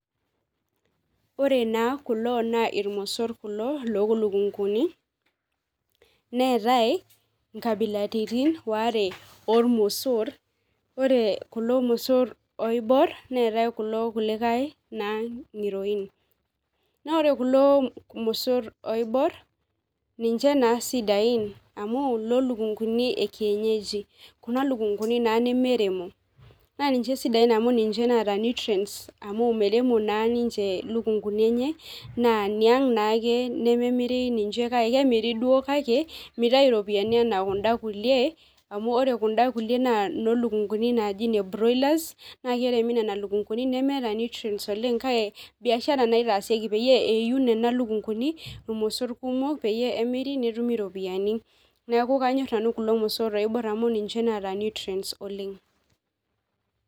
Ore naa kulo naa irmosor kulo lookunkuni neetai inkabilaritin waare oormosor ore kulo mosor oibor neetai kulo kulikae naa ngi'roin naa ore kulo mosor oibor ninche naa isidain amu iloolukunkuni enkienyeji kuna lunkunkuni naa nemeremo naa ninche isidain amu ninche naata neutrants amu meremo naa ninche ilukunkuni enye naa niang naaake nememiri ninche kake kemiri duo kake mitayu iropiyiani enaa kunda kulie amu ore kunda kulie naaa inoo lukunkuni naaji ine broilers naa keremi nena lunkununi nemeeta neutrates oleng kake biashara naaa eitaasieki nena lukunkuni irmosor kumok peyie emiri netumi iropiyiani neeku kanyor nanu kulo mosor oibor amu ninche oota neutrates oleng